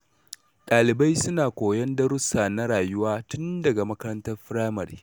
Ɗalibai suna koyon darussa na rayuwa tun daga makarantar firamare.